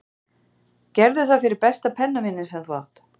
Gerðu það fyrir besta pennavininn sem þú átt.